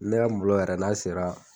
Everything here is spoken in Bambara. Ne ya nbulo yɛrɛ n'a sera